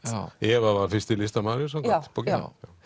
Eva var fyrsti listamaðurinn samkvæmt bókinni